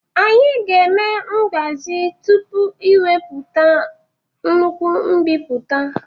Anyị ga-eme mgbazi tupu iwepụta nnukwu mbipụta